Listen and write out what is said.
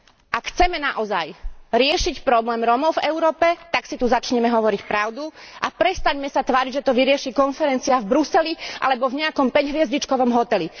Ak chceme naozaj riešiť problém Rómov v Európe, tak si tu začnime hovoriť pravdu a prestaňme sa tváriť, že to vyrieši konferencia v Bruseli alebo v nejakom päťhviezdičkovom hoteli.